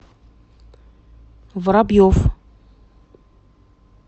воробьев